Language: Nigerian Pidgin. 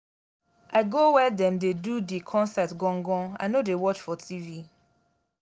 i go where dem dey do di concert gon-gon i no dey watch for tv.